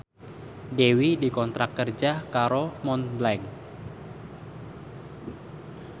Dewi dikontrak kerja karo Montblanc